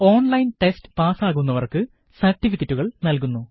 online test പാസാകുന്നവര്ക്ക് സര്ട്ടിഫിക്കറ്റുകള് നല്കുന്നു